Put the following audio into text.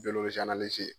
Doro